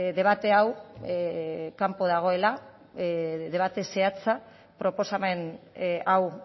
debate hau kanpo dagoela debate zehatza proposamen hau